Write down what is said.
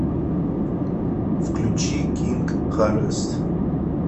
включи кинг харвест